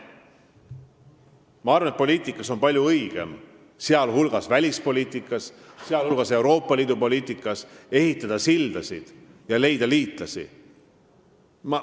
Ma arvan, et poliitikas, sh välispoliitikas ja Euroopa Liidu poliitikas on palju õigem ehitada sildasid ja leida liitlasi.